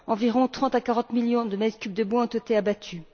Environ 30 à 40 millions de m3 de bois ont été abattus.